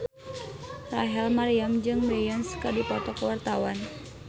Rachel Maryam jeung Beyonce keur dipoto ku wartawan